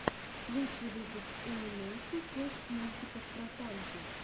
лучший выпуск энимэйшн фокс мультиков про танки